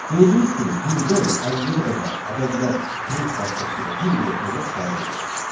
Gördüyünüz kimi birdən 50-yə qədər ədədlər print vasitəsilə bir-bir ekrana çıxarıldı.